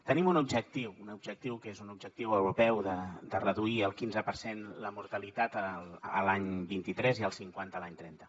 tenim un objectiu un objectiu que és un objectiu europeu de reduir el quinze per cent la mortalitat l’any vint tres i el cinquanta l’any trenta